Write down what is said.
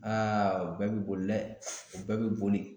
o bɛɛ bi boli dɛ o bɛɛ bi boli.